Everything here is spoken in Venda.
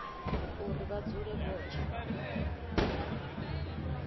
uri vha dzule vho tsha